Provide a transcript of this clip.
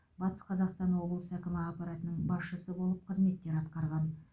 батыс қазақстан облысы әкімі аппаратының басшысы болып қызметтер атқарған